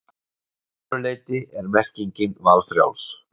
Að öðru leyti er merkingin valfrjáls.